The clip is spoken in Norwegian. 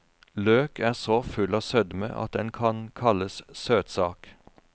Løk er så full av sødme at den kan kalles søtsak.